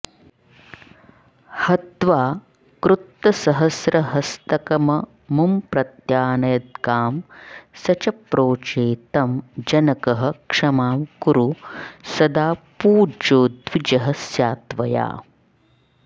हत्वा कृत्तसहस्रहस्तकममुं प्रत्यानयद्गां स च प्रोचे तं जनकः क्षमां कुरु सदा पूज्यो द्विजः स्यात्वया